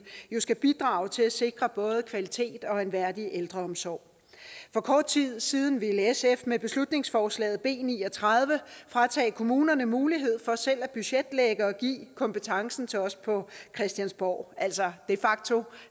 jo skal bidrage til at sikre både kvalitet og en værdig ældreomsorg for kort tid siden ville sf med beslutningsforslaget b ni og tredive fratage kommunerne mulighed for selv at budgetlægge og give kompetencen til os på christiansborg altså de facto